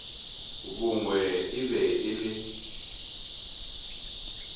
bongwe e be e le